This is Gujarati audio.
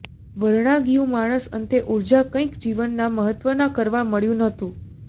વરણાગિયું માણસ અંતે ઊર્જા કંઈક જીવનના મહત્ત્વના કરવા મળ્યું ન હતું